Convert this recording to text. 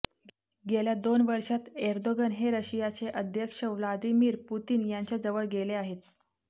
गेल्या दोन वर्षांत एर्दोगन हे रशियाचे अध्यक्ष व्लादिमीर पुतिन यांच्या जवळ गेले आहेत